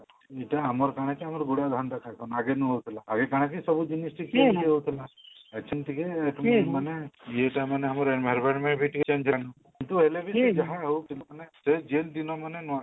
ଏଇଟା ଆମର କାଣା କି ଆମର ଗୁଡାଏ ଧାନ ଗେ ନୂଆ ହଉଥିଲା ଏବେ ସବୁ ହଉଥିଲା ଏବେ ସବୁ ଟିକେ ମାନେ ଇଏଟା ମାନେ ଆମର environment ବି ଟିକେ change ହେଲାଣି ଏସବୁ ହେଲେବି ସେ ଯାହା ହଉ ଯେ ଦିନ ମାନେ